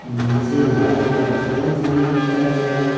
नीचे life insurance भी लिखा गया है।